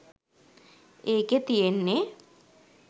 ඒකෙ තියෙන්නෙ